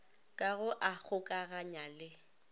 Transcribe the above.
ka go a kgokaganya le